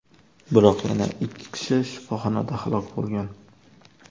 Biroq yana ikki kishi shifoxonada halok bo‘lgan.